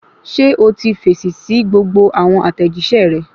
Ṣé o ti fèsì sí gbogbo àwọn àtẹ̀jíṣẹ́ rẹ